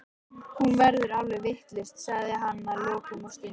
Hún verður alveg vitlaus, sagði hann að lokum og stundi.